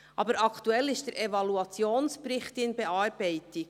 Aber aktuell ist der Evaluationsbericht in Bearbeitung.